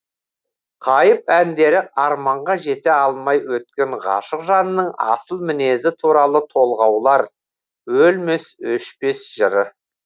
қайып әндері арманға жете алмай өткен ғашық жанның асыл мінезі туралы толғаулар өлмес өшпес жыры